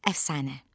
Əfsanə.